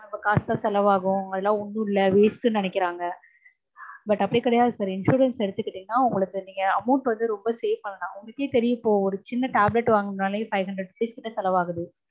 நம்ம காசுதா செலவாகும். அதெல்லாம் ஒன்னும் இல்ல waste னு நினைக்கறாங்க. but அப்படி கிடையாது sir insurance எடுத்துக்கிட்டீங்கன்னா உங்களுக்கு amount வந்து ரொம்ப save பண்ணலாம். உங்களுக்கே தெரியும் இப்போ சின்ன tablet வாங்கனுன்னாலே five hundred six hundred செலவாகுது.